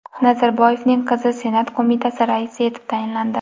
Nazarboyevning qizi senat qo‘mitasi raisi etib tayinlandi.